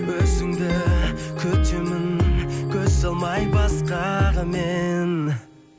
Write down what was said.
өзіңді күтемін көз салмай басқаға мен